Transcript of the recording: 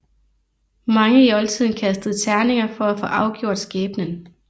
Mange i oldtiden kastede terninger for at få afgjort skæbnen